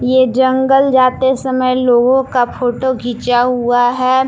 ये जंगल जाते समय लोगों का फोटो घिचा हुआ है।